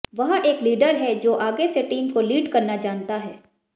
वह एक लीडर हैं जो आगे से टीम को लीड करना जानता है